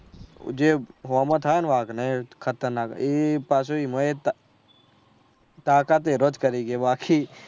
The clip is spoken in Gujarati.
જે હો માં થયા ને વાઘ ને ખતરનાક એ પાછુ એનો એજ તાકાત એનોજ કરી છે બાકી